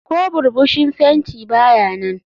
Ko burbushi fenti ba ya nan.